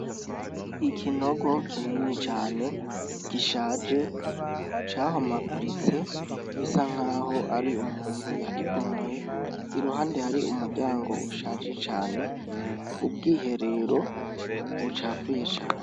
Ikinogo kinini cane gishaje cahomaguritse bisa nkaho ari umuntu yakibomoye iruhande Hari umuryango ushaje cane, ubwiherero bucafuye cane .